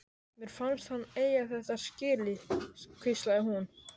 Mér fannst hann eiga þetta skilið- hvíslaði hún.